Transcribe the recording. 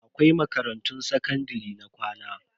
Akwai makarantun sakandare na ƙwana.